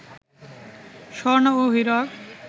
স্বর্ণ ও হীরক